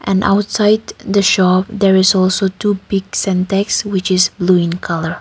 and outside the shop there is also two big syntex which is blue in colour.